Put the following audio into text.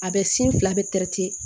A bɛ sin fila bɛ